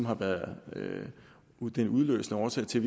har været den udløsende årsag til